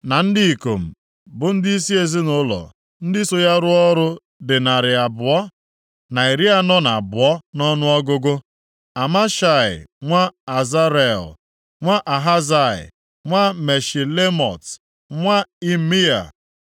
na ndị ikom bụ ndịisi ezinaụlọ ndị so ya rụọ ọrụ dị narị abụọ na iri anọ na abụọ (242) nʼọnụọgụgụ, Amashaị nwa Azarel, nwa Ahazai, nwa Meshilemot, nwa Imea,